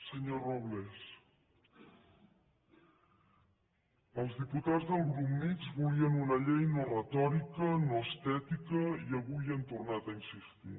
senyor robles els diputats del grup mixt volien una llei no retòrica no estètica i avui hi han tornat a insistir